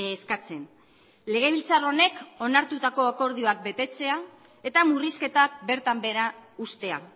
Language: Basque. eskatzen legebiltzar honek onartutako akordioak betetzea eta murrizketak bertan behera uztea